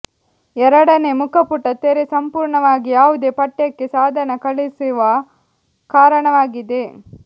ಎರಡನೇ ಮುಖಪುಟ ತೆರೆ ಸಂಪೂರ್ಣವಾಗಿ ಯಾವುದೇ ಪಠ್ಯಕ್ಕೆ ಸಾಧನ ಕಳುಹಿಸುವ ಕಾರಣವಾಗಿದೆ